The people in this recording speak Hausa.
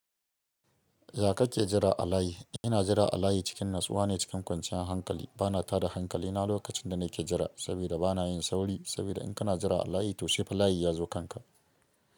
Ya ka ke jira a layi? Ina jira a layi cikin natsuwa ne cikin kwanciyar hankali. Bana tada hankali na lokacin da nake jira, saboda bana yin sauri. Saboda in kana jira a layi to sai fa layi ya zo kanka.